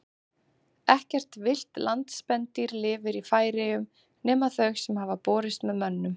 Ekkert villt landspendýr lifir í Færeyjum nema þau sem hafa borist með mönnum.